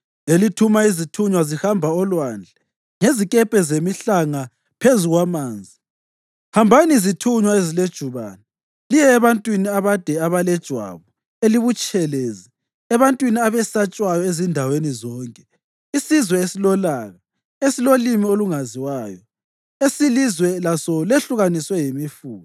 elithuma izithunywa zihamba olwandle ngezikepe zemihlanga phezu kwamanzi. Hambani, zithunywa ezilejubane, liye ebantwini abade abalejwabu elibutshelezi, ebantwini abesatshwayo ezindaweni zonke, isizwe esilolaka, esilolimi olungaziwayo, esilizwe laso lehlukaniswe yimifula.